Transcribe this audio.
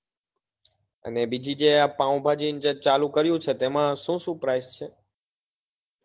અને બીજી જે પાવભાજી ને ચાલુ કર્યું છે એમાં શું શું price છે.